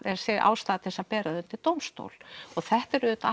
sé ástæða til að bera það undir dómstól og þetta er auðvitað